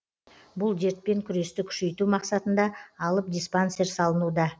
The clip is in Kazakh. бұл дертпен күресті күшейту мақсатында алып диспансер салынуда